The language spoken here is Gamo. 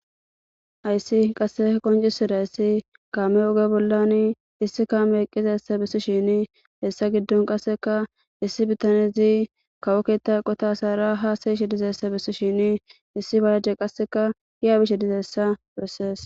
Ayssi qasse qoncisira issi kaame oge bollan issi kame qqizassa bessi shini hessa giddon qasseka issi bitanezi kawokeetta qota saara haasayish dizessa bessi shini issi baaje qasseka hiyaabishe dizeessa breses.